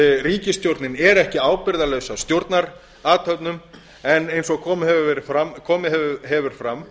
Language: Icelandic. ríkisstjórnin er ekki ábyrgðarlaus að stjórnarathöfnum en eins og komið hefur fram